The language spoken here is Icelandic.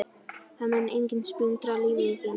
Það mun enginn splundra lífi þínu.